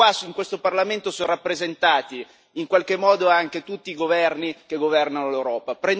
Qui, in questo Parlamento, sono rappresentati in qualche modo anche tutti i governi che governano l'Europa.